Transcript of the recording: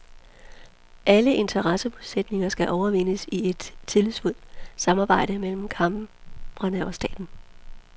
Alle interessemodsætninger skal overvindes i et tillidsfuldt samarbejde mellem kamrene og staten.